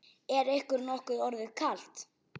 Er ykkur nokkuð orðið kalt?